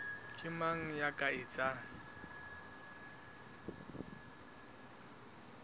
ke mang ya ka etsang